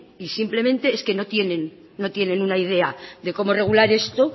y simplemente es que no tienen una idea de cómo regular esto